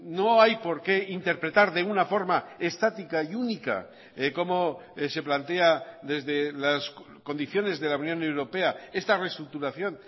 no hay porqué interpretar de una forma estática y única cómo se plantea desde las condiciones de la unión europea esta reestructuración